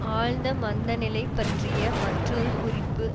ஆழ்ந்த மந்த நிலை பற்றிய மற்றொரு குறிப்பு